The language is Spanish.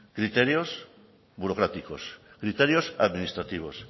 criterios burocráticos criterios administrativos